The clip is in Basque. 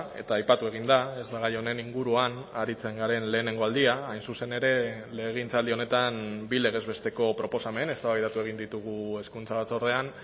eta aipatu egin da ez da gai honen inguruan aritzen garen lehenengo aldia hain zuzen ere legegintzaldi honetan bi legez besteko proposamen eztabaidatu egin ditugu hezkuntza batzordean